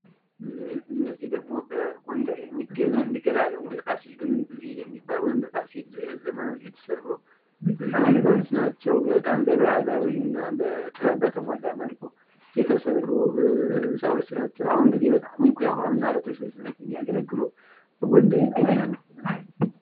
እነዚህ ደሞ በጎንደር ከተማ የሚገኘው የሚገራረሙ በፋሲል ዘመን የተሰሩ፥ ዘመናዊ ተደርገው የተሰሩ ግምብ ቤቶች ናቸው በጣም በባህላዊና በጥበብ በተሞላ መልኩ የተሰሩ ቤቶች ናቸው በጎንደር ይገኛሉ።